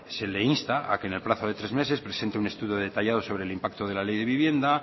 se le insta a que en el plazo de tres meses presente un estudio detallado sobre el impacto de la ley de vivienda